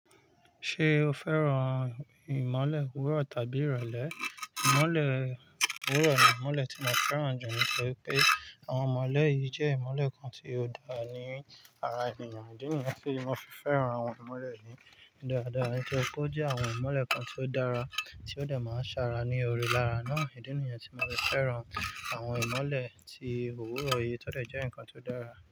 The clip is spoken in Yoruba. Ṣé o fẹ́ràn ìmọ̀le úrọ̀ tàbí ìrọ̀lẹ́? Ìmọ̀le owúrọ̀ ni ìmọ̀le tí mo fẹ́ràn jù nítorí pé àwọn ìmọ̀le yìí jẹ́ ìmọ̀le kan tí ó dáa ní ara ènìyàn. Ó di nìyẹn tí mo fi fẹ́ràn àwọn ìmọ̀le ni dáadáa. Nítorí pé ó jẹ́ àwọn ìmọ̀le kan tí ó dára, tí ó dà máa ń ṣàrà ní orí lára náà. Ó di nìyẹn tí mo fi fẹ́ràn àwọn ìmọ̀le tí òwúrọ̀ yìí tó dà jẹ́ nǹkan tí ó dára.